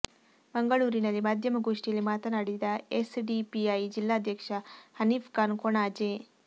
ಮಂಗಳೂರಿನಲ್ಲಿ ಮಾಧ್ಯಮ ಗೋಷ್ಠಿಯಲ್ಲಿ ಮಾತನಾಡಿದ ಎಸ್ ಡಿ ಪಿ ಐ ಜಿಲ್ಲಾದ್ಯಕ್ಷ ಹನೀಫ್ ಖಾನ್ ಕೊಣಾಜೆ